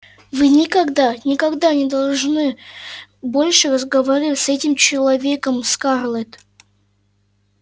вы никогда никогда не должны больше разговаривать с этим человеком скарлетт